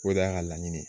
O de y'a ka laɲini ye